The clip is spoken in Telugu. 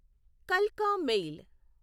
కల్కా మెయిల్